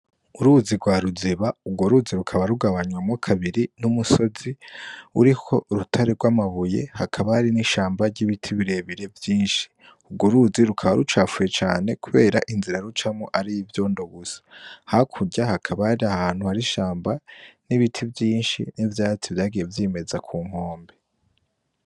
Uruzi rwa ruziba urwo ruzi rukaba rugabanywamo kabiri n'umusozi uriho urutare rw'amabuye hakabari n'ishamba ry'ibiti birebire vyinshi urwo uruzi rukaba rucafuye cane, kubera inzira rucamo ari ivyo ndo busa hakurya hakabari ahantu harishamba n'ibiti vyinshi n'ivyatsi vyagevyimba eza ku nkombe.